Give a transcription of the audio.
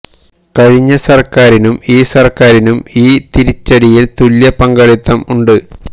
കഴിഞ്ഞ സർക്കാരിനും ഈ സർക്കാരിനും ഈ തിരിച്ചടിയിൽ തുല്യ പങ്കാളിത്തം ഉണ്ട്